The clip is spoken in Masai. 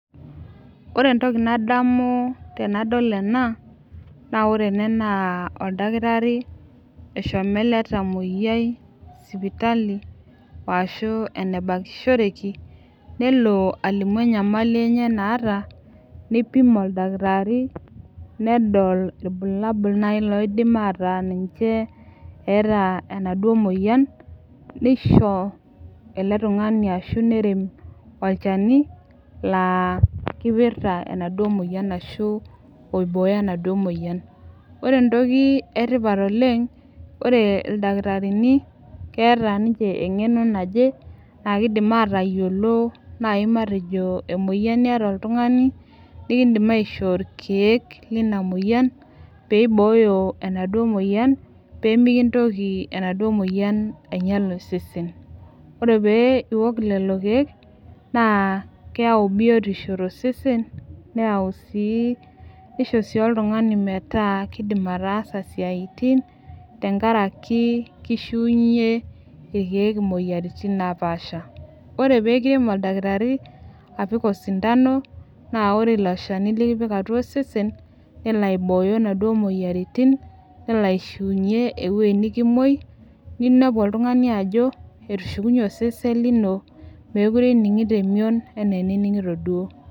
Ore entoki nadamu tenadol ena naa ore ena naa oldakitari eshomo ele tamoyiai sipitali woashu enebakishoreki nelo alimu enyamali enye naata neipim oldakitari nedol irbulabul naaji loidim ataa ninche eeta enaduo moyian neisho oladuo tung'ani ashu nerem olchani laa kipirta enaduo moyian ashu oibooyo enaduo moyian ore entoki etipat oleng ore ildakitarini keeta ninche eng'eno naje naa kidim atayiolo naaji matejo emoyian niata oltung'ani nikindim aishoo irkeek lina moyian peibooyo enaduo moyian pemikintoki enaduo moyian ainyial osesen ore pee iwok lelo keek naa keyau biotisho tosesen neyau sii nisho sii oltung'ani metaa kidim ataasa isiaitin tenkaraki kishiunye irkeek imoyiaritin napaasha ore pekirem oldakitari apik osindano naa ore ilo shani likipik atua osesen nelo aibooyo inaduo moyiaritin nelo aishiunyie ewuei nikimuoi ninepu oltun'ani ajo etushukunyie osesen lino mekure ining'ito emion enaa enining'ito duo.